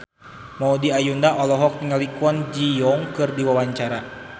Maudy Ayunda olohok ningali Kwon Ji Yong keur diwawancara